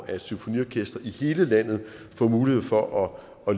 at symfoniorkestre i hele landet får mulighed for at